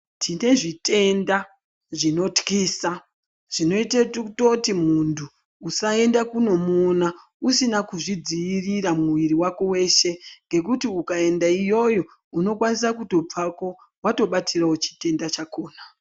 Tine zvitenda zvinotwisa zvinoite kutoti muntu usaende kunomuona usina kuzvidzirira muviri vako veshe. Ngekuti ukaenda iyoyo unokwanisa kutobvako vatobatiravo chitenda chakona.